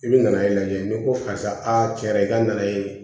I bɛ na e lajɛ n'i ko karisa a cɛ dɛ i ka na ye